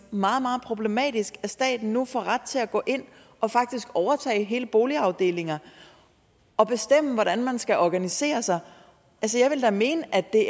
meget meget problematisk at staten nu får ret til at gå ind og faktisk overtage hele boligafdelinger og bestemme hvordan man skal organisere sig altså jeg vil da mene at det